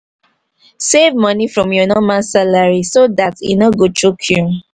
save money from your normal salary so dat e no go choke you